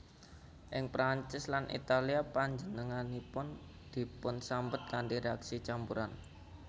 Ing Prancis lan Italia panjenenganipun dipunsambet kanthi réaksi campuran